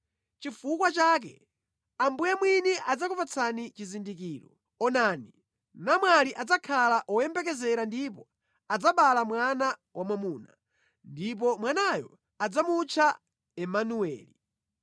Nʼchifukwa chake Ambuye mwini adzakupatsani chizindikiro: Onani, namwali adzakhala woyembekezera ndipo adzabala mwana wamwamuna, ndipo mwanayo adzamutcha Imanueli.